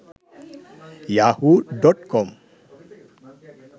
yahoo.com